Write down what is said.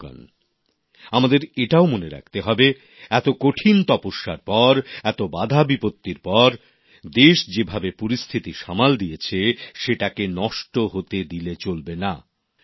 বন্ধুগণ আমাদের এটাও মনে রাখতে হবে এত কঠিন তপস্যার পর এত বাধাবিপত্তির পর দেশ যেভাবে পরিস্থিতি সামাল দিয়েছে সেটাকে নষ্ট হতে দিলে চলবে না